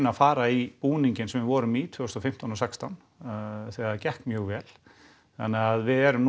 að fara í búninginn sem við vorum í tvö þúsund og fimmtán og sextán þegar það gekk mjög vel þannig að við erum